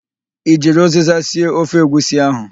I jiri ụzịza sie ofe egwusi ahụ?